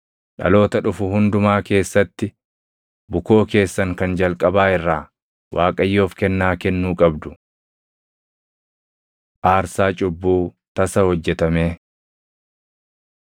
Dhaloota dhufu hundumaa keessatti bukoo keessan kan jalqabaa irraa Waaqayyoof kennaa kennuu qabdu. Aarsaa Cubbuu Tasa Hojjetamee